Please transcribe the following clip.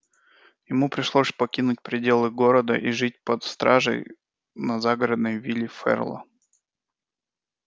ему пришлось покинуть пределы города и жить под стражей на загородной вилле ферла